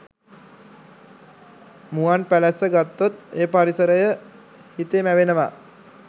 මුවන්පැලැස්ස ගත්තොත් ඒ පරිසරය හිතේ මැවෙනවා